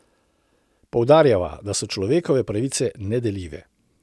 Poudarjava, da so človekove pravice nedeljive.